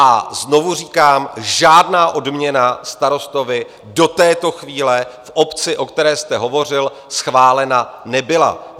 A znovu říkám, žádná odměna starostovi do této chvíle v obci, o které jste hovořil, schválena nebyla.